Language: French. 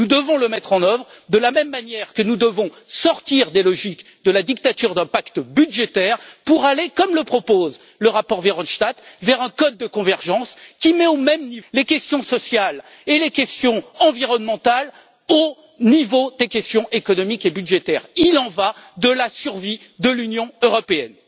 Nous devons la mettre en œuvre de la même manière que nous devons sortir des logiques de la dictature d'un pacte budgétaire pour aller, comme le propose le rapport Verhofstadt, vers un code de convergence qui mette les questions sociales et environnementales au même niveau que les questions économiques et budgétaires. Il en va de la survie de l'Union européenne.